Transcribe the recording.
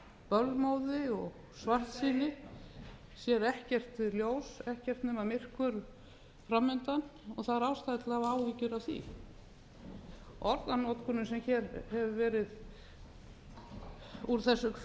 bölmóði og svartsýni sér ekkert ljós ekkert nema myrkur framundan það er ástæða til að hafa áhyggjur af því orðanotkunin sem hér hefur farið fram úr þessum ræðustól